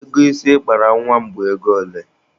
Ego isi ị kpara nwa m bụ ego ole?